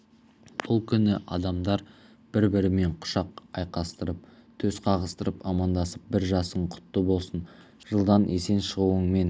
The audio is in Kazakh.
бұл күні адамдар бір-бірімен құшақ айқастырып төс қағыстырып амандасып бір жасың құтты болсын жылдан есен шығуыңмен